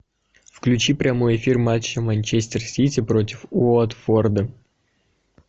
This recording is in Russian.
включи прямой эфир матча манчестер сити против уотфорда